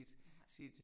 Jeg har